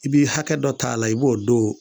I bi hakɛ dɔ t'a la i b'o don